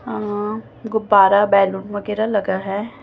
अं गुब्बारा बैलून वगैरा लगा है।